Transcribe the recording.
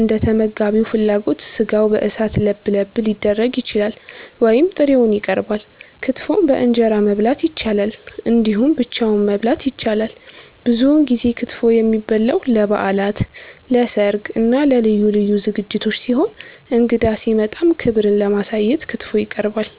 እንደተመጋቢው ፍላጎት ስጋው በእሳት ለብለብ ሊደረግ ይችላል ወይም ጥሬውን ይቀርባል። ክትፎን በእንጀራ መብላት ይቻላል እንዲሁም ብቻውን መበላት ይችላል። ብዙውን ጊዜ ክትፎ የሚበላው ለበዓላት፣ ለሰርግ እና ለልዩ ልዩ ዝግጅቶች ሲሆን እንግዳ ሲመጣም ክብርን ለማሳየት ክትፎ ይቀርባል።